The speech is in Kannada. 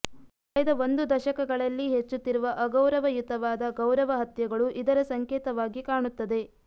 ಕಳೆದ ಒಂದು ದಶಕಗಳಲ್ಲಿ ಹೆಚ್ಚುತ್ತಿರುವ ಅಗೌರವಯುತವಾದ ಗೌರವಹತ್ಯೆಗಳು ಇದರ ಸಂಕೇತವಾಗಿ ಕಾಣುತ್ತದೆ